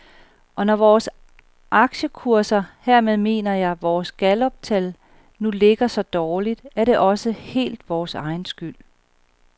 Og når vores aktiekurser, hermed mener jeg vores galluptal, nu ligger så dårligt, er det også helt vores egen skyld.